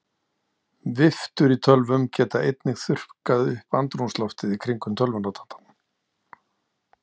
Viftur í tölvum geta einnig þurrkað upp andrúmsloftið í kringum tölvunotandann.